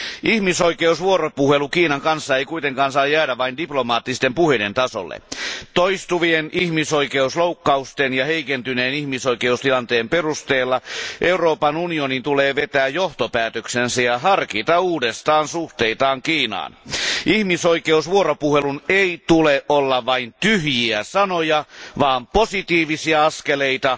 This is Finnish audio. Ihmisoikeusvuoropuhelu Kiinan kanssa ei kuitenkaan saa jäädä vain diplomaattisten puheiden tasolle. Toistuvien ihmisoikeusloukkausten ja heikentyneen ihmisoikeustilanteen perusteella Euroopan unionin tulee vetää johtopäätöksensä ja harkita uudestaan suhteitaan Kiinaan. Ihmisoikeusvuoropuhelun ei tule olla vain tyhjiä sanoja vaan positiivisia askeleita,